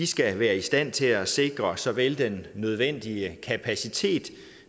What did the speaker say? skal være i stand til at sikre såvel den nødvendige kapacitet